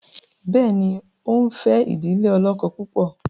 béèni o nfe idile olókó púpọ?